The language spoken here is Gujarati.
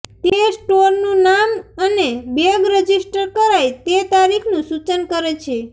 તે સ્ટોરનું નામ અને બેગ રજિસ્ટર કરાય તે તારીખનું સૂચન કરે છે